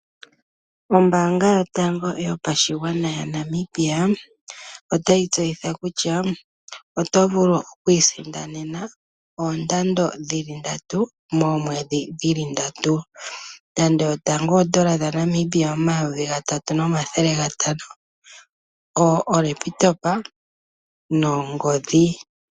Ombaanga yotango yopashigwana yaNamibia otayi tseyitha kutya, otovulu okwiisindanena oondando dhili ndatu , moomwedhi dhili ndatu. Oshikando shotango N$3500 nongodhi .